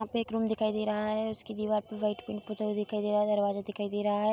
यहाँ पे एक रूम दिखाई दे रहा है | उसकी दिवार पे व्हाइट पिंक पूता हुआ दिखाई दे रहा है दरवाजा दिखाई दे रहा है।